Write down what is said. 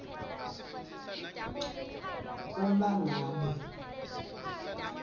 c uma ngabe